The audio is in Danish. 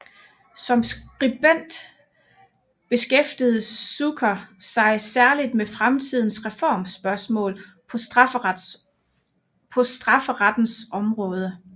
Som skribent beskæftigede Zucker sig særlig med samtidens reformspørgsmål på strafferettens område